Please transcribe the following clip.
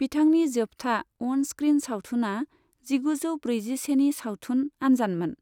बिथांनि जोबथा on screen सावथुनआ जिगुजौ ब्रैजिसेनि सावथुन आन्जानमोन,